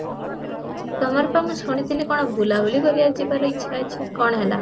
ତମର ତ ମୁଁ ଶୁଣିଥିଲି କି କଁ ବୁଲା ବୁଲି କରି ଯିବାର ଇଚ୍ଛା ଅଛି, କଣ ହେଲା?